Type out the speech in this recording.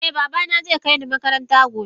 Eh babana zai kai ni makaranta gobe